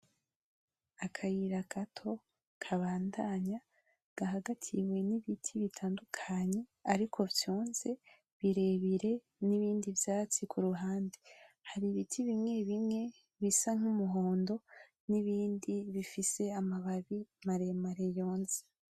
Akayira gato kabandanya, gahagatiwe n'ibiti bitandukanye ariko vyonze, birebire n'ibindi vyatsi ku ruhande. Hari ibiti bimwe bimwe bisa n'umuhondo, n'ibindi bifise amababi maremare yonze.